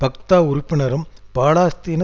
Fatah உறுப்பினரும் பாலஸ்தீன